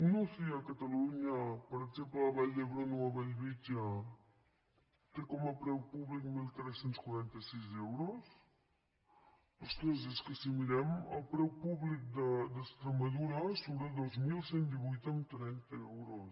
una uci a catalunya per exemple a la vall d’hebron o a bellvitge té com a preu públic tretze quaranta sis euros ostres és que si mirem el preu públic d’extremadura surt a dos mil cent i divuit coma trenta euros